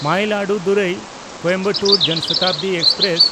ᱢᱟᱭᱤᱞᱟᱫᱩᱛᱷᱩᱨᱟᱭ–ᱠᱳᱭᱮᱢᱵᱟᱴᱩᱨ ᱡᱚᱱ ᱥᱚᱛᱟᱵᱫᱤ ᱮᱠᱥᱯᱨᱮᱥ